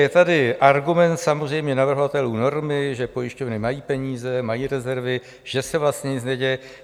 Je tady argument samozřejmě navrhovatelů normy, že pojišťovny mají peníze, mají rezervy, že se vlastně nic neděje.